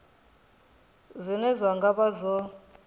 zwine zwa nga vha zwo